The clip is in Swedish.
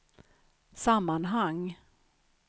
sammanhang